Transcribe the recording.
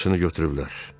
Hamısını götürüblər.